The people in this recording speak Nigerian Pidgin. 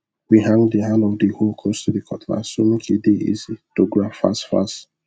we hang the hand of the hoe close to de cutlass so make e dey easy to grab fast fast